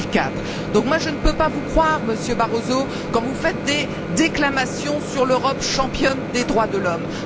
2004. Je ne peux donc pas vous croire, Monsieur Barroso, quand vous faites des déclamations sur l'Europe championne des droits de l'homme.